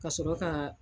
Ka sɔrɔ ka